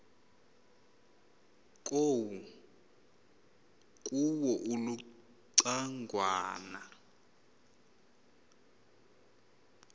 kuwo uluca ngwana